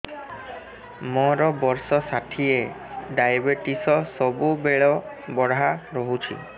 ମୋର ବର୍ଷ ଷାଠିଏ ଡାଏବେଟିସ ସବୁବେଳ ବଢ଼ା ରହୁଛି